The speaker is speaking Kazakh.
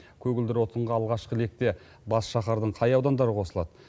көгілдір отынға алғашқы ретте бас шаһардың қай аудандары қосылады